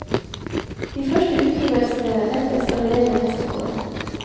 De første utgivelsene ventes allerede neste år.